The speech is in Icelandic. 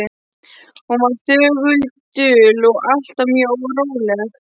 Hún var þögul, dul og alltaf mjög róleg.